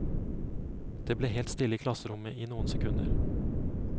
Det ble helt stille i klasserommet i noen sekunder.